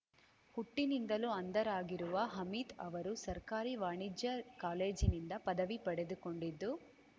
ಹುಟ್ಟಿನಿಂದಲೂ ಅಂಧರಾಗಿರುವ ಹಮೀದ್ ಅವರು ಸರ್ಕಾರಿ ವಾಣಿಜ್ಯ ಕಾಲೇಜಿನಿಂದ ಪದವಿ ಪಡೆದುಕೊಂಡಿದ್ದು